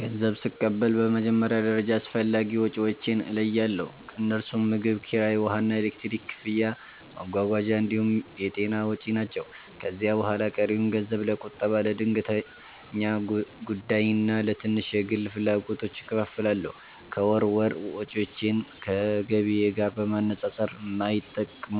ገንዘብ ስቀበል በመጀመሪያ ደረጃ አስፈላጊ ወጪዎቼን እለያለሁ፤ እነርሱም ምግብ፣ ኪራይ፣ ውሃና ኤሌክትሪክ ክፍያ፣ መጓጓዣ እንዲሁም የጤና ወጪ ናቸው። ከዚያ በኋላ ቀሪውን ገንዘብ ለቁጠባ፣ ለድንገተኛ ጉዳይና ለትንሽ የግል ፍላጎቶች እከፋፍላለሁ። ከወር ወር ወጪዎቼን ከገቢዬ ጋር በማነጻጸር የማይጠቅሙ